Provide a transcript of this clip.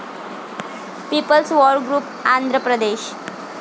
people's war group, Andhra Pradesh